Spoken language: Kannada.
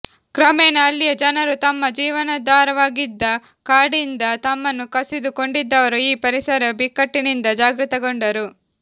ಕ್ರಮೇಣ ಅಲ್ಲಿಯ ಜನರು ತಮ್ಮ ಜೀವನಾಧಾರವಾಗಿದ್ದ ಕಾಡಿಂದ ತಮ್ಮನ್ನು ಕಸಿದು ಕೊಂಡಿದ್ದರ ಈ ಪರಿಸರ ಬಿಕ್ಕಟ್ಟಿನಿಂದ ಜಾಗೃತಗೊಂಡರು